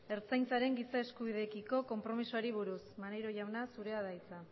ertzaintzaren giza eskubideekiko konpromisoari buruz maneiro jauna zurea da hitza